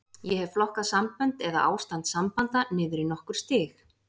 Ég hef flokkað sambönd, eða ástand sambanda, niður í nokkur stig.